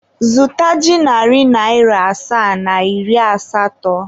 Zụta ji narị naịra asaa na iri asatọ.